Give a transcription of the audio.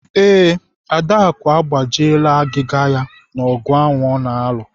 Ee, Adaku agbajiela agịga ya n'ogụ ahụ ọ na-alụ.